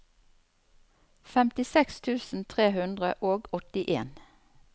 femtiseks tusen tre hundre og åttien